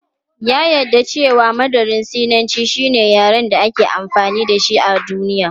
Ya jaddada cewa Mandarin Sinanci shine yaren da aka fi amfani da shi a duniya.